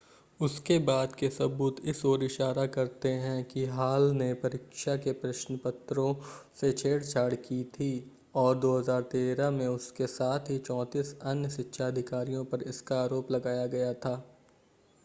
उसके बाद के सबूत इस ओर इशारा करते है कि हॉल ने परीक्षा के प्रश्नपत्रों से छेड़छाड़ की थी और 2013 में उसके साथ ही 34 अन्य शिक्षा अधिकारियों पर इसका आरोप लगाया गया था